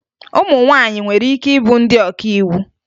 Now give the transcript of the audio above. Ụmụ nwaanyị nwere ike ịbụ ndị ọkàiwu